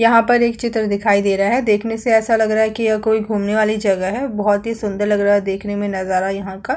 यहाँ पर एक चित्र दिखाई दे रहा है देखने से ऐसा लग रहा है कि यह कोई घुमने वाली जगह है बहुत ही सुंदर लग रहा है देखने में नजारा यहाँ का --